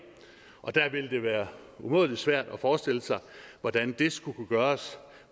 og der vil det være umådelig svært at forestille sig hvordan det skulle kunne gøres